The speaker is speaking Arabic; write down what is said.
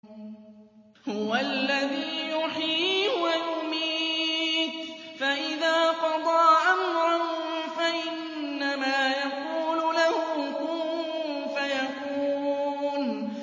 هُوَ الَّذِي يُحْيِي وَيُمِيتُ ۖ فَإِذَا قَضَىٰ أَمْرًا فَإِنَّمَا يَقُولُ لَهُ كُن فَيَكُونُ